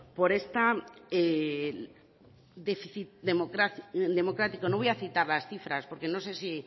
por este déficit democrático no voy a citar las cifras porque no sé si